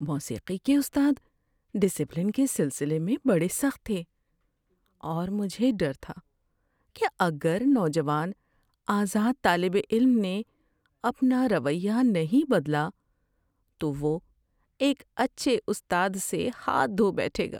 موسیقی کے استاد ڈسپلن کے سلسلے میں بڑے سخت تھے، اور مجھے ڈر تھا کہ اگر نوجوان آزاد طالب علم نے اپنا رویہ نہیں بدلا تو وہ ایک اچھے استاد سے ہاتھ دھو بیٹھے گا۔